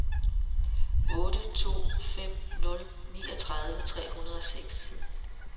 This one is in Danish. otte to fem nul niogtredive tre hundrede og seks